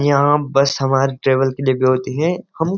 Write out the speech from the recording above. यहाँ बस हमारे ट्रेवल के लिए भी होती हैं --